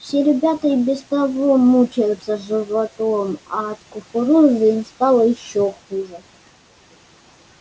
все ребята и без того мучаются животом а от кукурузы им стало ещё хуже